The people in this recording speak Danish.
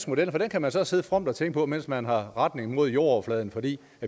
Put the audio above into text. model for den kan man så sidde fromt og tænke på mens man har retning mod jordoverfladen fordi